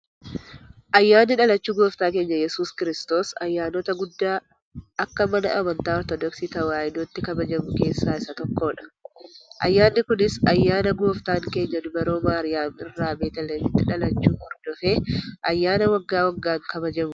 Ayyaanni dhalachuu gooftaa keenya Iyyasuus Kiristoos, ayyaanota guddaa akka Mana amantaa Ortodoksi tawaahidootti kabajamu keessaa isa tokkodha. Ayyaanni kunis, ayyaana gooftan keenya dubroo Maariyaam irraa Betiliyeemitti dhalachuu hordofee ayyaana waggaa waggaan kabajamuudha.